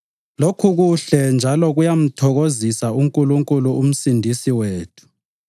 Lokhu kuhle njalo kuyamthokozisa uNkulunkulu uMsindisi wethu